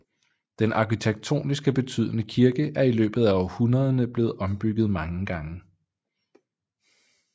Den arkitektoniske betydende kirke er i løbet af århundrederne blevet ombygget mange gange